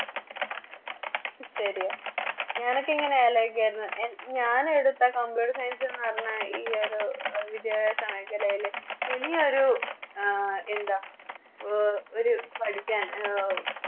ശെരിയാ ഞാനൊക്കെ ഇങ്ങനെ ആലോചിക്കുവാരുന്നു ഞാനൊക്കെ എടുത്ത Computer science ന്ന് പറഞ്ഞാ ഈയൊരു വിദ്യാഭ്യാസ മേഖലയില് ഇനിയൊരു എന്താ ഒരു പഠിക്കാൻ